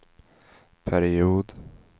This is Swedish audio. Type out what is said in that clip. period